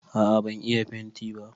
A'a ban iya fenti ba